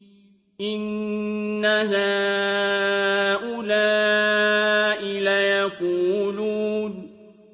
إِنَّ هَٰؤُلَاءِ لَيَقُولُونَ